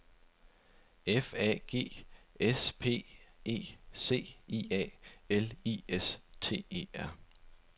F A G S P E C I A L I S T E R